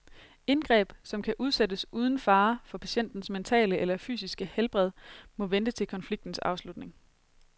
Indgreb, som kan udsættes uden fare for patientens mentale eller fysiske helbred, må vente til konfliktens afslutning.